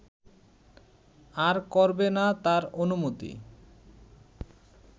আর করবে না তার অনুমতি